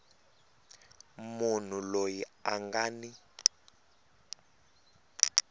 munhu loyi a nga ni